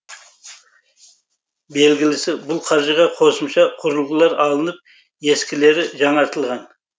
белгілісі бұл қаржыға қосымша құрылғылар алынып ескілері жаңартылған